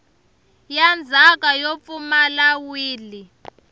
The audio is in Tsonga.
ya ndzhaka yo pfumala wili